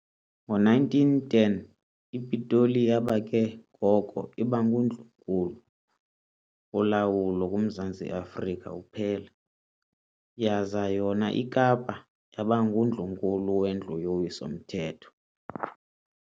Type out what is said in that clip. Ngo-1910, iPitoli yaba ke ngoko iba nguNdlunkulu wolawulo kuMzantsi Afrika uphela, yaza yona iKapa yaba ngundlu-nkulu wendlu yowiso-Mthetho.